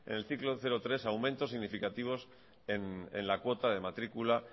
en el ciclo cero tres aumentos significativos en la cuota de matrícula